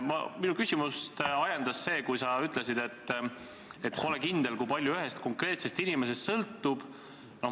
Minu küsimust ajendas see, kui sa ütlesid, et pole kindel, kui palju ühest konkreetsest inimesest sõltub.